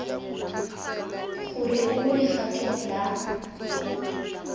gore o mo legatong la